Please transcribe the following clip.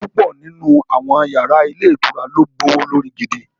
Púpọ̀ nínú àwọn yàrá ilé ìtura ló gbówó lórí gidi